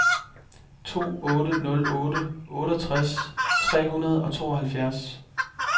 to otte nul otte otteogtres tre hundrede og tooghalvfjerds